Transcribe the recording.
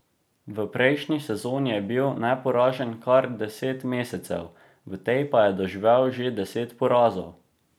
V prejšnji sezoni je bil neporažen kar deset mesecev, v tej pa je doživel že deset porazov!